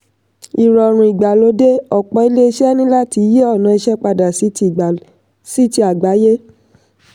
ìrọ̀rùn-ìgbàlódé: ọ̀pọ̀ iléeṣẹ́ ní láti yí ọ̀nà iṣẹ́ padà sí ti àgbáyé.